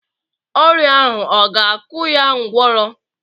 Ọrịa ahụ ọ ga-akụ ya ngwọrọ?